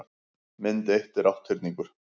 mynd eitt er átthyrningur